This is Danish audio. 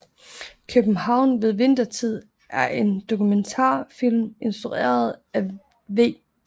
København ved Vintertid er en dokumentarfilm instrueret af V